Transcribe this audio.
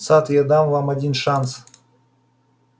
сатт я дам вам один шанс